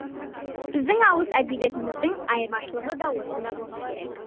біздің ауыз әдебиетіміздің айырмашылығы да осында болса керек